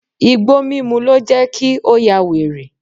Igbó mímú ló jẹ́ kí ó yà wèrè.